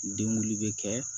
Den wuli bɛ kɛ